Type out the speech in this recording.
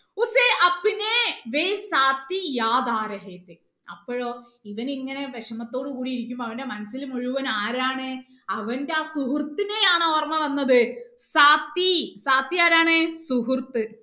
അപ്പോഴോ ഇവൻ ഇങ്ങനെ വിഷമത്തോട് കൂടി ഇരിക്കുമ്പോ അവന്റെ മനസ്സിൽ മുഴുവനും ആരാണ് അവന്റെ ആ സുഹൃത്തിനെയാണ് ഓർമ്മ വന്നത് ആരാണ് സുഹൃത്ത്